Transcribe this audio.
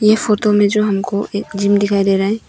यह फोटो में जो हमको एक जिम दिखाई दे रहा है।